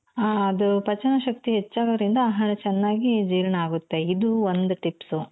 ಆ ಅದು ಪಚನ ಶಕ್ತಿ ಹೆಚ್ಚಾಗೋದ್ರಿಂದ ಆಹಾರ ಚೆನ್ನಾಗಿ ಜೀರ್ಣ ಆಗುತ್ತೆ ಇದು ಒಂದ್ tips